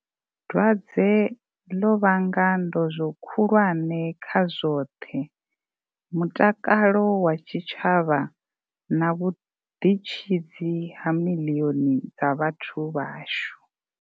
Dwadze ḽo vhanga ndozwo khulwane kha zwoṱhe, mutakalo wa tshi tshavha na vhu ḓitshidzi ha miḽioni dza vhathu vhashu.